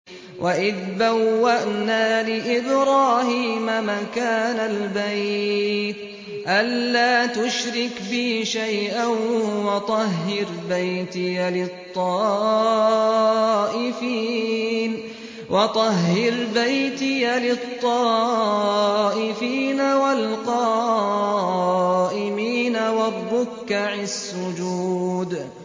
وَإِذْ بَوَّأْنَا لِإِبْرَاهِيمَ مَكَانَ الْبَيْتِ أَن لَّا تُشْرِكْ بِي شَيْئًا وَطَهِّرْ بَيْتِيَ لِلطَّائِفِينَ وَالْقَائِمِينَ وَالرُّكَّعِ السُّجُودِ